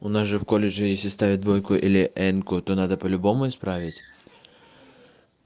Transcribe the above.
у нас же в колледже если ставят двойку или энку то надо по-любому исправить